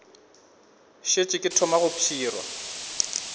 šetše ke thoma go pshirwa